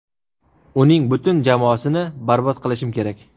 Uning butun jamoasini barbod qilishim kerak.